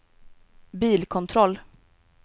bilkontroll